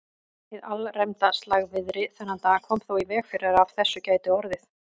Hið alræmda slagviðri þennan dag kom þó í veg fyrir að af þessu gæti orðið.